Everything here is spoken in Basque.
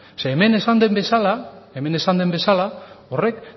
zeren hemen esan den bezala horrek